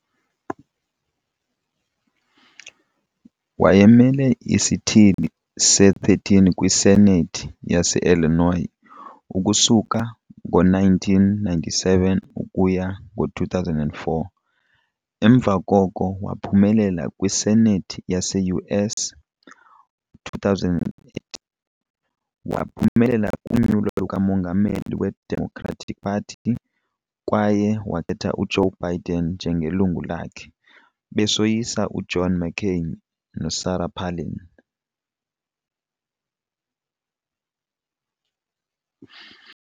Wayemele isithili se-13 kwi-Senate yase-Illinois ukusuka ngo-1997 ukuya ngo-2004, emva koko waphumelela kwiSenate yase-US. Ngo-2008, waphumelela kunyulo lukamongameli lweDemocratic Party kwaye wakhetha uJoe Biden njengelungu lakhe, besoyisa uJohn McCain noSarah Palin.